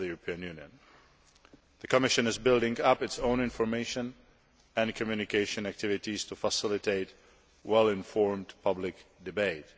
The Commission is stepping up its own information and communication activities to facilitate well informed public debate.